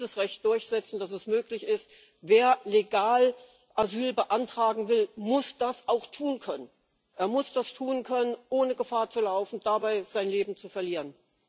Wir müssen dieses Recht durchsetzen, dass es möglich ist Wer legal Asyl beantragen will, muss das auch tun können er muss das tun können, ohne Gefahr zu laufen, dabei sein Leben zu verlieren.